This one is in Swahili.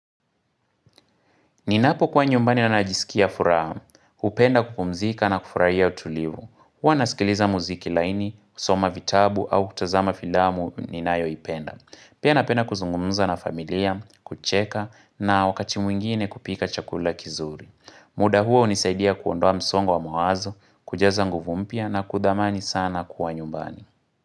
Ninapokua nyumbani najisikia furaha, hupenda kupumzika na kufurahia utulivu. Huwa nasikiliza muziki laini, kusoma vitabu au kutazama filamu ninayo ipenda. Pia napenda kuzungumza na familia, kucheka na wakati mwingine kupika chakula kizuri. Muda huo hunisaidia kuondoa msongo wa mawazo, kujaza nguvu mpya na kudhamani sana kuwa nyumbani.